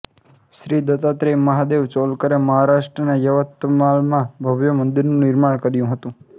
શ્રી દત્તાત્રેય મહાદેવ ચોલકરએ મહારાષ્ટ્રના યવત્માલમાં ભવ્ય મંદીરનું નિર્માણ કર્યું હતું